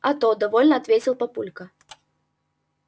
а то довольно ответил папулька